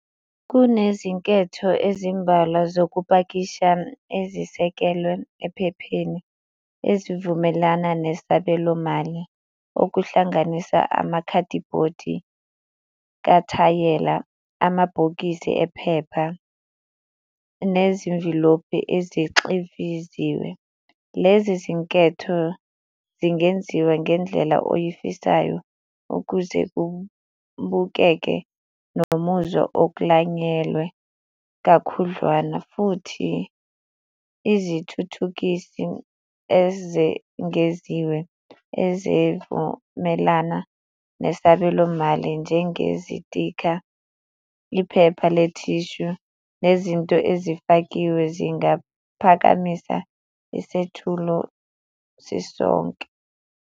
Kunezinketho ezimbalwa zokupakisha ezisekelwe ephepheni ezivumelana nesabelomali okuhlanganisa amakhadibhodi kathayela, amabhokisi ephepha nezimvilophi ezixiviziwe. Lezi zinketho zingenziwa ngendlela oyifisayo ukuze kubukeke nomuzwa oklanyelwe kakhudlwana, futhi izithuthukisi ezengeziwe ezivumelana nesabelomali njengezitikha, iphepha, le-tissue nezinto ezifakiwe zingaphakamisa isethulo sisonke.